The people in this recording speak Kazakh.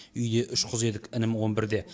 үйде үш қыз едік інім он бірде